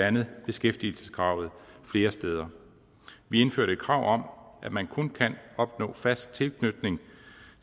andet beskæftigelseskravet flere steder vi indførte et krav at man kun kan opnå fast tilknytning